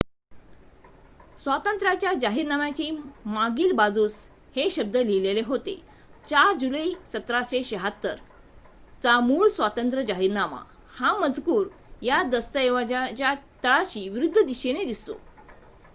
"स्वातंत्र्याच्या जाहीरनाम्याच्या मागील बाजूस हे शब्द लिहिले होते "4 जुलै 1776 चा मूळ स्वातंत्र्य जाहीरनामा"". हा मजकूर या दस्तऐवजाच्या तळाशी विरुद्ध दिशेने दिसतो.